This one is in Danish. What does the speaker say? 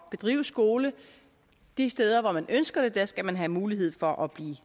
bedrive skole de steder hvor man ønsker det skal man have mulighed for at blive